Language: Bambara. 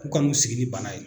K'u ka n'u sigi ni bana ye